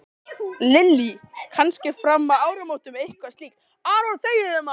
Lillý: Kannski fram að áramótum eitthvað slíkt?